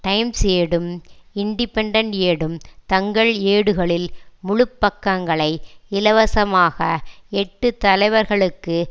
times ஏடும் Independent ஏடும் தங்கள் ஏடுகளில் முழு பக்கங்களை இலவசமாக எட்டு தலைவர்களுக்கு